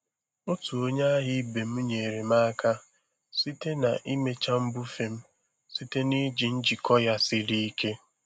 Otu onye ahịa ibe m nyeere m aka site n'ịmecha mbufe m site na iji njikọ ya siri ike.